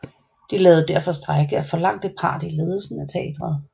De lavede derfor strejke og forlangte part i ledelsen af teatret